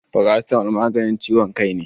Farasitamol maganin ciwon kai ne.